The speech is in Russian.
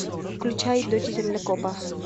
включай дочь землекопа